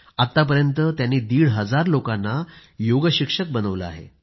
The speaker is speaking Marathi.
आत्तापर्यंत त्यांनी दीड हजार लोकांना योगशिक्षक बनवलं आहे